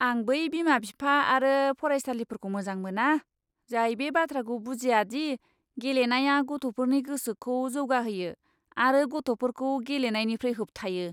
आं बै बिमा बिफा आरो फरायसालिफोरखौ मोजां मोना, जाय बे बाथ्राखौ बुजिया दि गेलेनाया गथ'फोरनि गोसोखौ जौगाहोयो आरो गथ'फोरखौ गेलेनायनिफ्राय होबथायो!